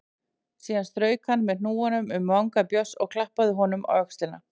Síðan strauk hann með hnúanum um vanga Björns og klappaði honum á öxlina.